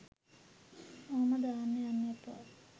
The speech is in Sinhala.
ඔහොම දාන්න යන්න එපා.